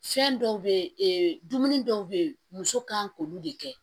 Fɛn dɔw be ye dumuni dɔw be yen muso kan k'olu de kɛ